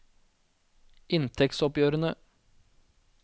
inntektsoppgjørene